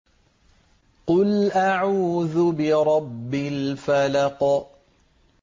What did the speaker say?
قُلْ أَعُوذُ بِرَبِّ الْفَلَقِ